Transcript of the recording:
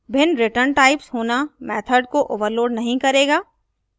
भिन्न return types होना method को ओवरलोड नहीं करेगा